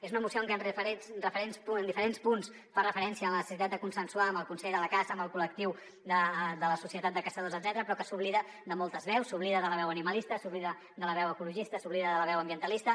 és una moció que en diferents punts fa referència a la necessitat de consensuar amb el consell de la caça amb el col·lectiu de la societat de caçadors etcètera però que s’oblida de moltes veus s’oblida de la veu animalista s’oblida de la veu ecologista s’oblida de la veu ambientalista